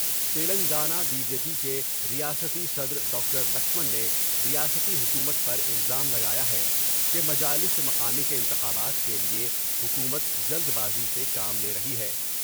Telangana BJP کے ریاستی صدر ڈاکٹر لکشمن نے ریاستی حکومت پر الزام لگایا ہے کہ مجالس مقامی کے انتخابات کے لئے حکومت جلد بازی سے کام لے رہی ہے ۔